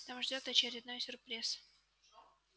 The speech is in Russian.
там ждёт очередной сюрприз